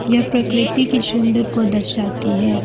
यह प्रकृति की सुंदर को दर्शाती है।